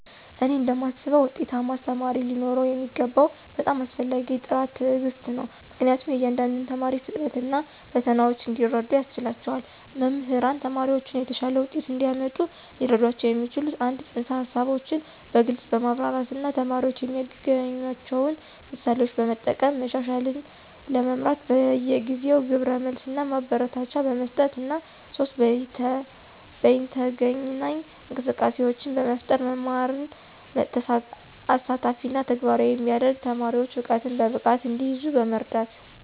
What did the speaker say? እኔ እንደማስበው ውጤታማ አስተማሪ ሊኖረው የሚገባው በጣም አስፈላጊው ጥራት ትዕግስት ነው, ምክንያቱም የእያንዳንዱን ተማሪ ፍጥነት እና ፈተናዎች እንዲረዱ ያስችላቸዋል. መምህራን ተማሪዎችን የተሻለ ውጤት እንዲያመጡ ሊረዷቸው የሚችሉት - 1) ፅንሰ-ሀሳቦችን በግልፅ በማብራራት እና ተማሪዎች የሚያገናኟቸውን ምሳሌዎችን በመጠቀም፣ 2) መሻሻልን ለመምራት በየጊዜው ግብረ መልስ እና ማበረታቻ በመስጠት፣ እና 3) በይነተገናኝ እንቅስቃሴዎችን በመፍጠር መማርን አሳታፊ እና ተግባራዊ የሚያደርግ፣ ተማሪዎች እውቀትን በብቃት እንዲይዙ በመርዳት።